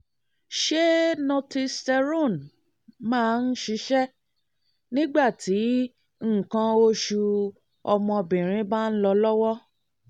ṣé northisterone máa ń ṣiṣẹ́ nígbà tí nǹkan osu ọmọbìnrin bá ń lọ lọ́wọ́?